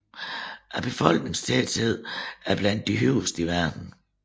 Befolkningstætheden er blandt de højeste i verden